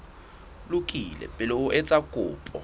lokile pele o etsa kopo